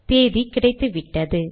தேதி கிடைத்துவிட்டது